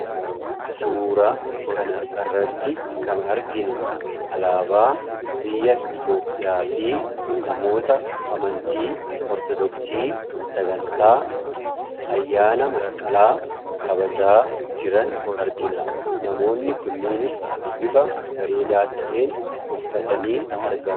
Suuraa kana irratti kan arginu, alaabaa biyya Itoophiyaa fi namoota amantii Ortodoksii sagantaa ayyaana masqalaa kabajaa jiran argina. Namoonni kunniinis bifa bareedaa ta'een uffatanii argamu.